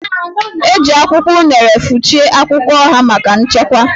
E ji akwụkwọ unere fụchie akwụkwọ oha maka nchekwa